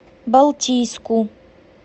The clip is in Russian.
балтийску